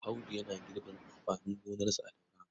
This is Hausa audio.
Audu yana girbin amfanin gonarsa a Daura.